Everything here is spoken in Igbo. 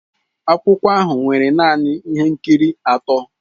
Akwụkwọ ahụ nwere naanị ihe nkiri atọ.